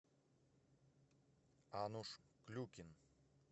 ануш клюкин